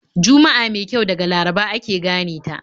Juma'a mai kyau daga Laraba ake gane ta.